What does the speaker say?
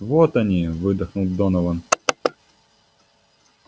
вот они выдохнул донован